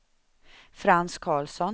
Frans Carlsson